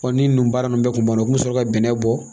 ni ninnu baara ninnu bɛ kun banna u kun mi sɔrɔ ka bɛnnɛ bɔ